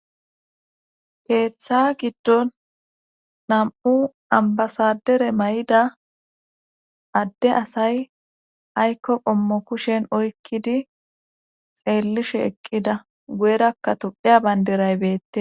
keeththa giddon nam7u ambasadere may7ida adde asay aykko qommo kushen oykkidi xeellishe eqqida guyerakka tupheya bayndiray beette